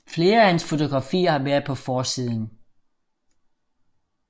Flere af hans fotografier har været på forsiden